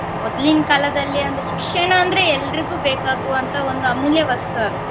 ಮೊದ್ಲಿನ್ ಕಾಲದಲ್ಲಿ ಅಂದ್ರೆ ಶಿಕ್ಷಣ ಅಂದ್ರೆ ಎಲ್ರಿಗೂ ಬೇಕಾಗುವಂತ ಒಂದು ಅಮೂಲ್ಯ ವಸ್ತು ಅದು.